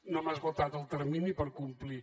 no hem esgotat el termini per complir